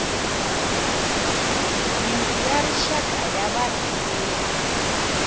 yindlu ya rixaka ya varhangeri